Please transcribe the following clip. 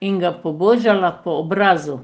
in ga pobožala po obrazu.